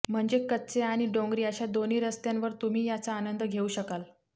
म्हणजे कच्चे आणि डोंगरी अशा दोन्ही रस्त्यांवर तुम्ही याचा आनंद घेऊ शकाल